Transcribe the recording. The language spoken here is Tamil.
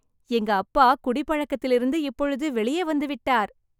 எங்க அப்பா குடிப்பழக்கத்திலிருந்து இப்பொழுது வெளியே வந்து விட்டார்.